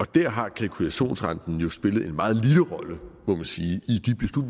der har kalkulationsrenten jo spillet en meget lille rolle må man sige i